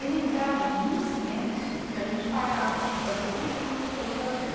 Ele entrava num silêncio que a gente parava de fazer tudo que você estava fazendo.